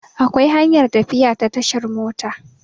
Akwai hanyar tafiya ta tashar mota